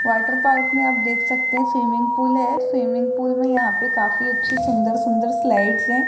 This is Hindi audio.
वॉटर पार्क में आप देख सकते हैं स्विमिंग पूल है स्विमिंग पूल में यहां पर काफी अच्छी सुंदर सुंदर स्लाइड से --